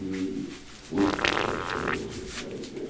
e outros restaurantes mais aí.